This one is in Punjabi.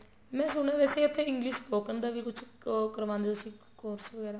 ਮੈਂ ਸੁਣਿਆ ਹੈ ਵੈਸੇ ਉੱਥੇ English spoken ਦਾ ਵੀ ਕੁੱਛ ਉਹ ਕਰਵਾਉਦੇ ਹੋ ਤੁਸੀਂ course ਵਗੈਰਾ